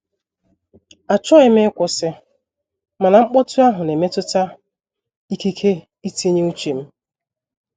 Achọghị m ịkwụsị, mana mkpọtụ ahụ na-emetụta ikike itinye uche m.